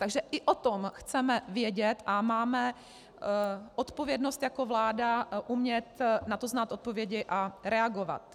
Takže i o tom chceme vědět a máme odpovědnost jako vláda umět na to znát odpovědi a reagovat.